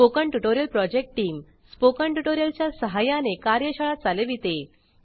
spoken tutorial project team spoken tutorial च्या सहाय्याने कार्यशाळा चालविते